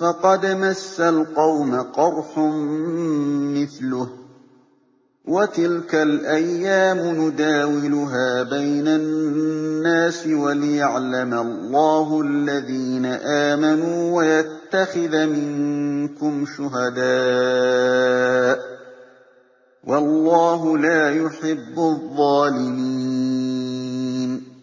فَقَدْ مَسَّ الْقَوْمَ قَرْحٌ مِّثْلُهُ ۚ وَتِلْكَ الْأَيَّامُ نُدَاوِلُهَا بَيْنَ النَّاسِ وَلِيَعْلَمَ اللَّهُ الَّذِينَ آمَنُوا وَيَتَّخِذَ مِنكُمْ شُهَدَاءَ ۗ وَاللَّهُ لَا يُحِبُّ الظَّالِمِينَ